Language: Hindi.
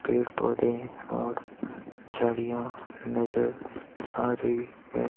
पेड़ पौधे और चिड़िया नजर आ रही है।